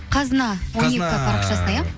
қазына он екі парақшасына ия